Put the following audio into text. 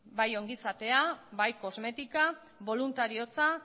bai ongizatea bai kosmetika boluntariotza